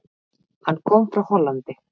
Hann kom frá Hollandi.